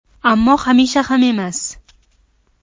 Ammo hamisha ham emas.